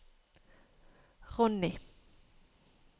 Ronnie